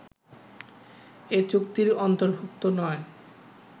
এ চুক্তির অন্তর্ভুক্ত নয়